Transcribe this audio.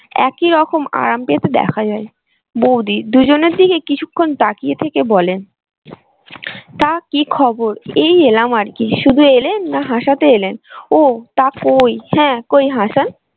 একিরকম আরাম পেতে দেখা যায়। বৌদি দুজনের দিকে কিছুক্ষন তাকিয়ে থেকে বলেন তা কি খবর? এই এলাম আর কি। শুধু এলেন না হাসতে এলেন? ও তা কই হ্যাঁ কই হাসান